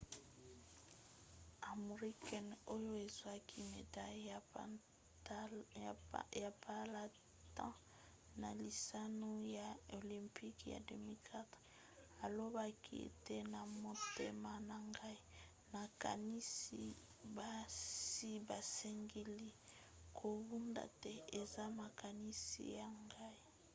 amir khan oyo azwaki medaille ya palata na lisano ya olympique ya 2004 alobaki ete na motema na ngai nakanisi basi basengeli kobunda te. eza makanisi na ngai.